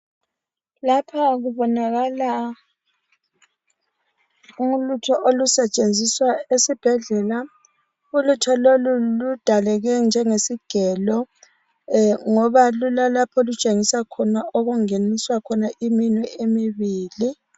Lapha kubonakala ulutho olusetshenziswa esibhedlela. Ulutho lolu ludaleke njengesigelo ngoba lulalapho olutshengisa khona okungeniswa iminwe emibili.